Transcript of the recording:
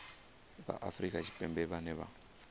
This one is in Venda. vha afrika tshipembe vhane vha